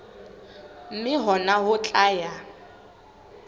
mme hona ho tla ya